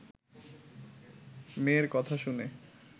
মেয়ের কথা শুনে